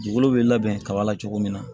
Dugukolo bɛ labɛn kaba la cogo min na